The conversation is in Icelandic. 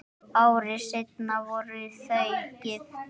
Ári seinna voru þau gift.